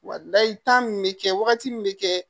Wa layi tan nin bɛ kɛ wagati min bɛ kɛ